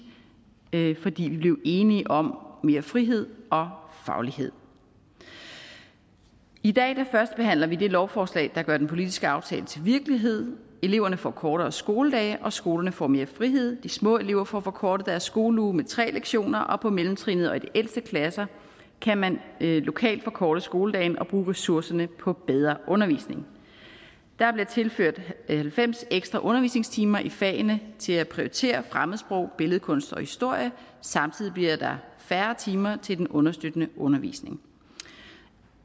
fordi vi blev enige om mere frihed og faglighed i dag førstebehandler vi det lovforslag der gør den politiske aftale til virkelighed eleverne får kortere skoledage og skolerne får mere frihed de små elever får forkortet deres skoleuge med tre lektioner og på mellemtrinnet og i de ældste klasser kan man lokalt forkorte skoledagen og bruge ressourcerne på bedre undervisning der er blevet tilført halvfems ekstra undervisningstimer i fagene til at prioritere fremmedsprog billedkunst og historie og samtidig bliver der færre timer til den understøttende undervisning